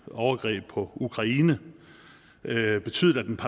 overgreb på ukraine betydet at den